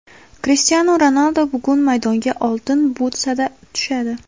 Krishtianu Ronaldu bugun maydonga Oltin butsada tushadi.